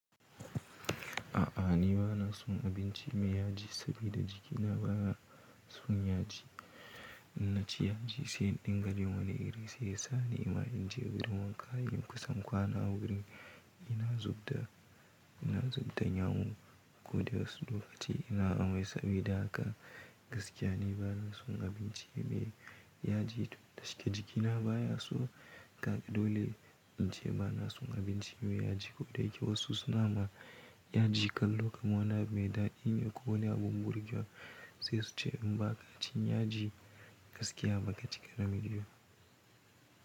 A'a ni ba na son abinci mai yaji sabida jikina baya son yaji. Na ci yaji sai in dinga jin wani irin sai nima in je gurin wanka in kusan kwana wuri. Ina zub da, ina zub da yawo ko da wasu lokaci ina amai sabida haka gaskiya ni ba na son abinci mai yaji tun da shike jikina baya so. Kaga dole in ce ba na son abinci mai yaji ko da yake wasu suna ma yaji kallon kamar wani abu mai daɗine ko wani abun burgewa sai su ce in ba ka ci yaji gaskiya ba ka cika namiji ba.